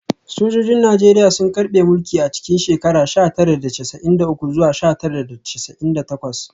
Sojojin Najeriya sun karbe mulki a cikin sha tara da casa’in da uku zuwa sha tara da casa’in da takwas